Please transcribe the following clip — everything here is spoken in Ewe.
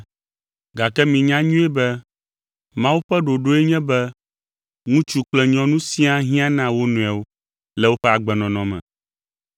Gake minyae nyuie be Mawu ƒe ɖoɖoe nye be ŋutsu kple nyɔnu siaa hiã na wo nɔewo le woƒe agbenɔnɔ me.